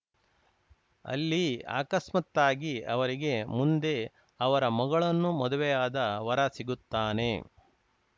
ಅಲ್ಲಿ ಅಕಸ್ಮಾತ್ತಾಗಿ ಅವರಿಗೆ ಮುಂದೆ ಅವರ ಮಗಳನ್ನು ಮದುವೆಯಾದ ವರ ಸಿಗುತ್ತಾನೆ